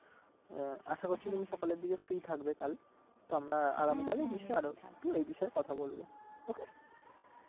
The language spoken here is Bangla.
আশা করছি সকালের দিকে free থাকবে কাল তো আমরা তো এই বিষয়ে কথা বলবো okay